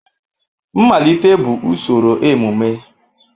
Mmalite bụ usoro emume.